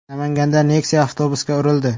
Namanganda Nexia avtobusga urildi.